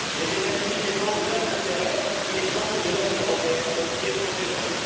Les États Unis défendent leurs intérêts, il est temps que les nations européennes défendent les leurs.